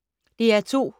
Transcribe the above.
DR2